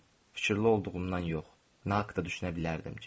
Fikirli olduğumdan yox, nə haqda düşünə bilərdim ki?